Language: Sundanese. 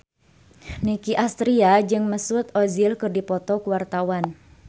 Nicky Astria jeung Mesut Ozil keur dipoto ku wartawan